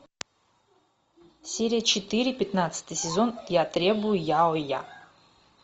серия четыре пятнадцатый сезон я требую яоя